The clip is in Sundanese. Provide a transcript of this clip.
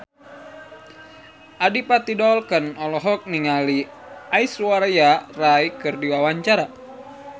Adipati Dolken olohok ningali Aishwarya Rai keur diwawancara